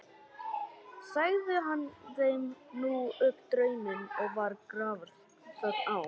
Sagði hann þeim nú upp drauminn og var grafarþögn á.